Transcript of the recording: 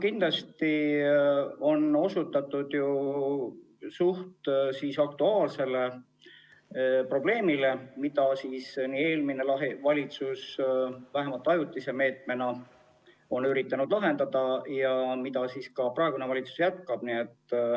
Kindlasti on see suhteliselt aktuaalne probleem, mida eelmine valitsus on vähemalt ajutise meetme abil üritanud lahendada ja praegune valitsus seda jätkab.